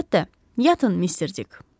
Əlbəttə, yatın, Mister Dik.